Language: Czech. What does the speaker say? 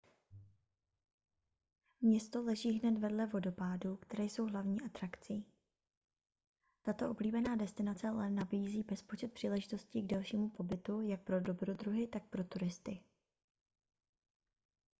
město leží hned vedle vodopádů které jsou hlavní atrakcí tato oblíbená destinace ale nabízí bezpočet příležitostí k delšímu pobytu jak pro dobrodruhy tak pro turisty